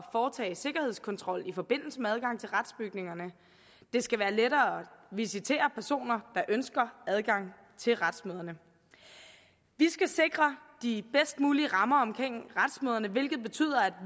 foretage sikkerhedskontrol i forbindelse med adgang til retsbygningerne det skal være lettere at visitere personer der ønsker adgang til retsmøderne vi skal sikre de bedst mulige rammer omkring retsmøderne hvilket betyder at